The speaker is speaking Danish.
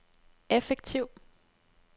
effektiv